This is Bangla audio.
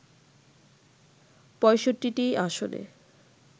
৬৫টি আসনে